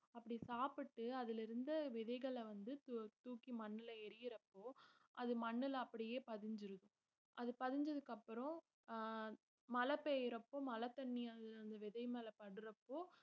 அப்படி சாப்பிட்டு அதுல இருந்த விதைகள வந்து தூ~ தூக்கி மண்ணுல எரியுறப்போ அது மண்ணுல அப்படியே பதிஞ்சிருது அது பதிஞ்சதுக்கு அப்புறம் அஹ் மழை பெய்யிறப்ப மழ தண்ணி அதுல அந்த விதை மேல படுறப்போ